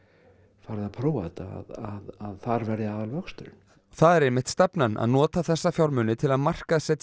farið að prófa þetta að þar verði aðal vöxturinn það er einmitt stefnan að nota þessa fjármuni til að markaðssetja